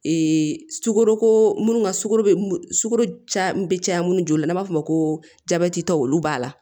sukaroko munnu ka sukaro sukoro caya be caya munnu na n'an b'a fɔ o ma ko jabɛtitɔ olu b'a la